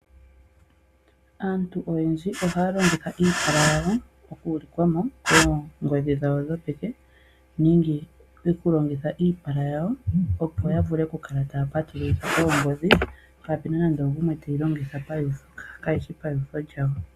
Aantu oyendji ohaya longitha iipala yawo okuulika mo oongodhi dhawo dhopeke nenge okuyilongitha, opo ya kale taya patulula oongodhi dhawo kapena nande ogumwe teyi longitha kayishi pautho lyawo.